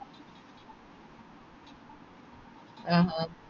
ആഹ് ഹ